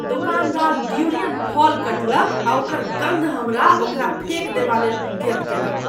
दोकानदार ड्यूरियन फल कटलक आ ओकर गन्ध हमरा ओकरा फेक देबा ले उद्यत केलक